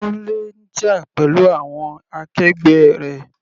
Kunle ń jà pẹ̀lú àwọn akẹgbẹ́ rẹ̀.